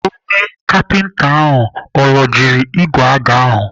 Onye kapinta ahụ ọ rọjiri igwe aga ahụ?